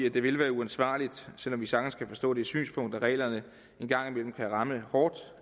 at det ville være uansvarligt selv om vi sagtens kan forstå det synspunkt at reglerne en gang imellem kan ramme hårdt